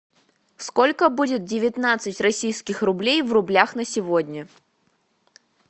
сколько будет девятнадцать российских рублей в рублях на сегодня